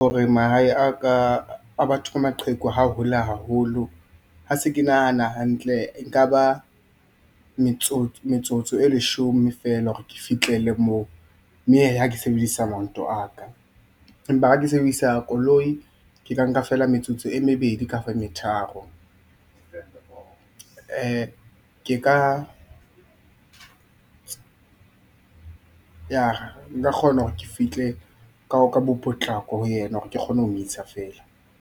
Hore mahae a batho ba maqheku ha a hole haholo, ha se ke nahana hantle nka ba metsotso e leshome fela hore ke fitlele moo mme he, hake sebedisa maoto a ka empa hake sebedisa koloi ke ka nka fela metsotso e mebedi kafa e metharo. Ke ka... nka kgona hore ke fihle ka bo potlako ho yena hore ke kgone ho mo isa feela.